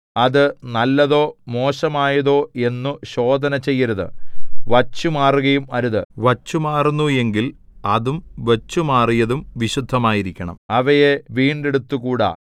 അത് നല്ലതോ മോശമായതോ എന്നു ശോധനചെയ്യരുത് വച്ചുമാറുകയും അരുത് വച്ചുമാറുന്നു എങ്കിൽ അതും വച്ചുമാറിയതും വിശുദ്ധമായിരിക്കണം അവയെ വീണ്ടെടുത്തുകൂടാ